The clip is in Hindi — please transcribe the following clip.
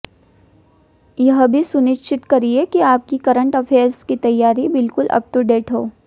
यह भी सुनिश्चित करिए कि आपकी करंट अफ़ेयर्स की तैयारी बिल्कुल अप टू डेट हो